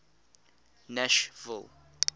nashville